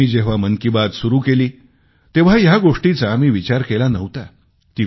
मी जेव्हा मन की बात सुरू केली तेव्हा या गोष्टीचा मी विचार केला नव्हता